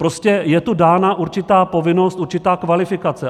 Prostě je tu dána určitá povinnost, určitá kvalifikace.